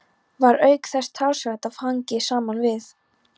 Var auk þess talsvert af þangi saman við.